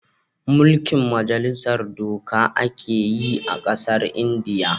Mulkin majalisar doka a ke yi a kasan indiya